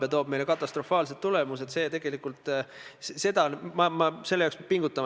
Ja tõepoolest, see kooskõlastusring ei hõlma endas mitte ainult ministeeriume, vaid sellesse on kaasatud ka huvigrupid.